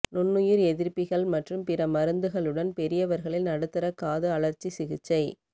நுண்ணுயிர் எதிர்ப்பிகள் மற்றும் பிற மருந்துகளுடன் பெரியவர்களில் நடுத்தரக் காது அழற்சி சிகிச்சை